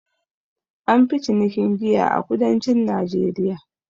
An fi cinikin giya a kudancin najeriya